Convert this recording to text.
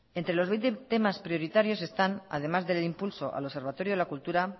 entre los veinte temas prioritarios están además del impulso al observatorio de la cultura